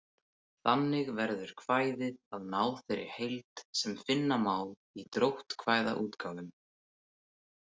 Þannig verður kvæðið að þeirri heild sem finna má í dróttkvæðaútgáfum.